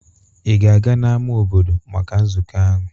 Ị ga-agaa n'ámá obodo maka nzukọ ahụ?